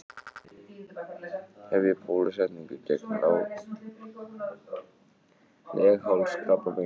Hefja bólusetningu gegn leghálskrabbameini